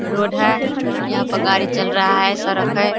Road है यहाँ पर गाड़ी चल रहा है सड़क है।